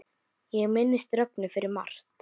Ég minnist Rögnu fyrir margt.